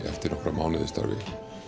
eftir nokkra mánuði í starfi